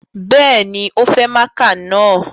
Bẹ́ẹ̀ni, o fẹ máaka na